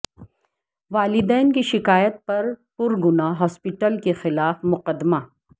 والدین کی شکایت پر پرگنا ہاسپٹل کے خلاف مقدمہ درج